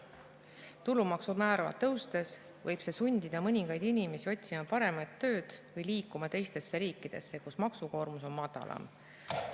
Tulumaksumäära tõustes võib see sundida mõningaid inimesi otsima paremat tööd või liikuma teistesse riikidesse, kus maksukoormus on madalam.